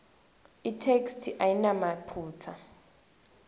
itheksthi ayinamaphutsa